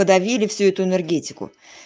давили всю эту энергетику